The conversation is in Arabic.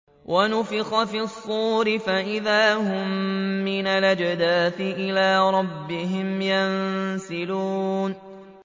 وَنُفِخَ فِي الصُّورِ فَإِذَا هُم مِّنَ الْأَجْدَاثِ إِلَىٰ رَبِّهِمْ يَنسِلُونَ